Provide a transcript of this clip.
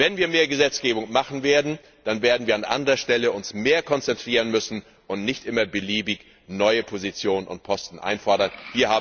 Wenn wir mehr Gesetze verabschieden werden, dann werden wir uns an anderer Stelle mehr konzentrieren müssen und nicht immer beliebig neue Positionen und Posten einfordern können.